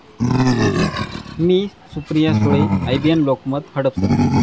मी, Supriya Sule, IBN Lokmat, Hadapsar!